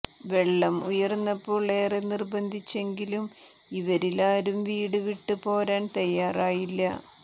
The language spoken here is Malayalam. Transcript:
വെള്ളം ഉയർന്നപ്പോൾ ഏറെ നിർബന്ധിച്ചെങ്കിലും ഇവിരിലാരും വീട് വിട്ട് പോരാൻ തയ്യാറായില്ല